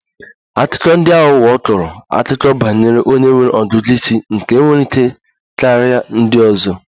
Akụkọ ndi aghụghọ kọrọ akụkọ banyere onye nwere ọgụgụ ísì nke nwere ike karia ndị ọzọ